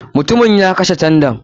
MUtumin ya kashe tandan.